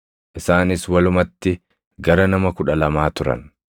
Isaanis walumatti gara nama kudha lamaa turan.